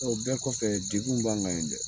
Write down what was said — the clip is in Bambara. O bɛɛ kɔfɛ degun b'an kan yen dɛ.